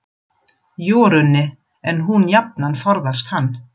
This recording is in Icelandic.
Jórunni, en hún jafnan forðast hann.